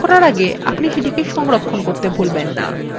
file বন্ধ করার আগে আপনি সেটি সংরক্ষণ করতে ভুলবেন না